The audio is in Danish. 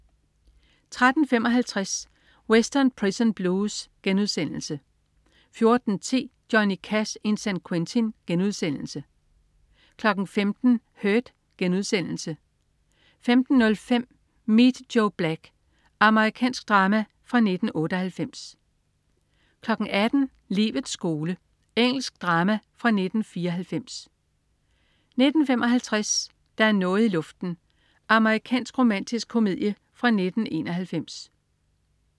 13.55 Western Prison Blues* 14.10 Johnny Cash in San Quentin* 15.00 Hurt* 15.05 Meet Joe Black. Amerikansk drama fra 1998 18.00 Livets skole. Engelsk drama fra 1994 19.55 Der er noget i luften. Amerikansk romantisk komedie fra 1991